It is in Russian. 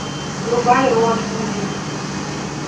врубай роад муви